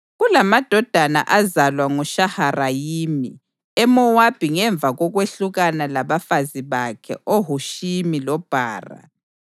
Kulamadodana azalwa nguShaharayimi eMowabi ngemva kokwehlukana labafazi bakhe oHushimi loBhara.